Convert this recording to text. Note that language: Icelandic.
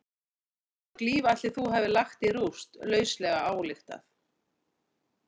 Hversu mörg líf ætli þú hafir lagt í rúst, lauslega ályktað?